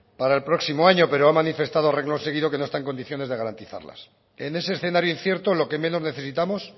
para el próximo año pero ha manifestado a reglón seguido que no está en condiciones de garantizarlas en ese escenario incierto lo que menos necesitamos